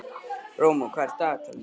Rómeó, hvað er í dagatalinu í dag?